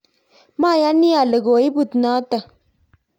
mayani ale koibut noto